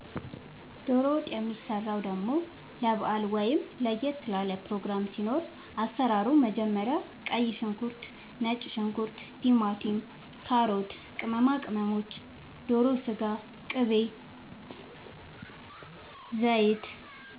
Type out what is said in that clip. ዶሮ ወጥ የሚሰራው ደሞ ለባአል ወይም ለየት ላለ ፕሮግራም ሲኖር አሰራሩ መጀመሪያ ቀይ ሽንኩርት ነጭ ሽንኩርት ቲማቲም ካሮት ቅመማ ቅመሞች ዶሮ ስጋ ቅቤ ዘይት